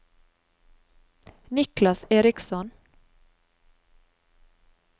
Niklas Eriksson